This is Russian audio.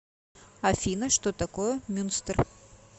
афина что такое мюнстер